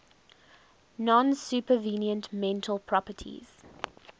non supervenient mental properties